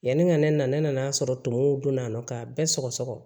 Yanni ka ne nana ne nan'a sɔrɔ tumuw donna nɔ ka bɛɛ sɔgɔsɔgɔ